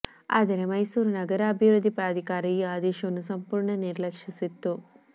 ಆದರೆ ಮೈಸೂರು ನಗರಾಭಿವೃದ್ಧಿ ಪ್ರಾಧಿಕಾರ ಈ ಆದೇಶವನ್ನು ಸಂಪೂರ್ಣ ನಿರ್ಲ ಕ್ಷಿಸಿತ್ತು